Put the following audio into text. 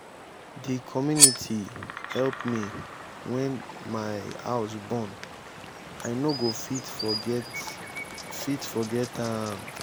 di community help me wen my house burn i no go fit forget fit forget am.